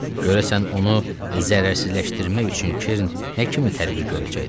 Görəsən onu zərərsizləşdirmək üçün Keren nə kimi tədbir görəcəkdi?